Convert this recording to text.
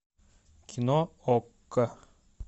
кино окко